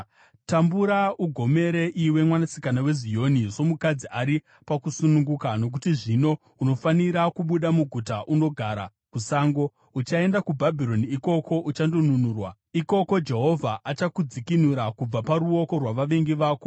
Tambura ugomere, iwe Mwanasikana weZioni, somukadzi ari pakusununguka, nokuti zvino unofanira kubuda muguta unogara kusango. Uchaenda kuBhabhironi; ikoko uchandonunurwa. Ikoko Jehovha achakudzikinura kubva paruoko rwavavengi vako.